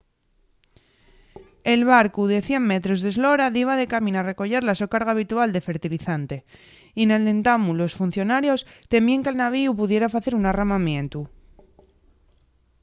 el barcu de 100 metros d’eslora diba de camín a recoyer la so carga habitual de fertilizante y nel entamu los funcionarios temíen que’l navíu pudiera facer un arramamientu